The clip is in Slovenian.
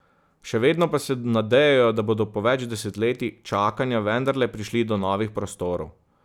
Še vedno pa se nadejajo, da bodo po več desetletij čakanja vendarle prišli do novih prostorov.